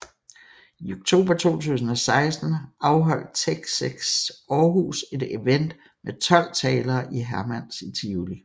I oktober 2016 afholdt TEDxAarhus et event med 12 talere i Hermans i Tivoli